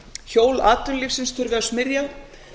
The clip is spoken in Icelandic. hjól atvinnulífsins þurfi að smyrja